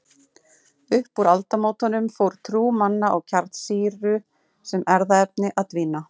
Upp úr aldamótunum fór trú manna á kjarnsýru sem erfðaefni að dvína.